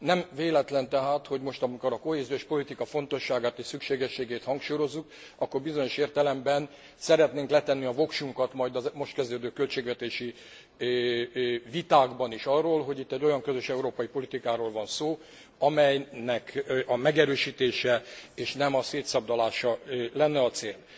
Nem véletlen tehát, hogy most, amikor a kohéziós politika fontosságát és szükségességét hangsúlyozzuk, akkor bizonyos értelemben szeretnénk letenni a voksunkat majd a most kezdődő költségvetési vitákban is arról, hogy itt egy olyan közös európai politikáról van szó, amelynek a megerősítése és nem a szétszabdalása lenne a cél.